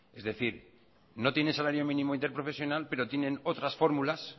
es decir no tienen salario mínimo interprofesional pero tienen otras fórmulas